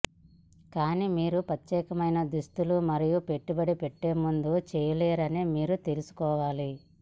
కానీ మీరు ప్రత్యేకమైన దుస్తులు మరియు పెట్టుబడి పెట్టే ముందు చేయలేరని మీరు తెలుసుకోవాలి